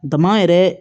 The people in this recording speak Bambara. Dama yɛrɛ